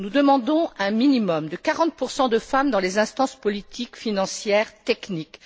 Nous demandons un minimum de 40 de femmes dans les instances politiques, financières et techniques.